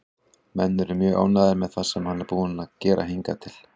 Menn eru mjög ánægðir með það sem hann er búinn að gera hingað til.